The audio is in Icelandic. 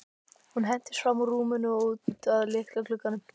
Hún hentist fram úr rúminu og út að litla glugganum.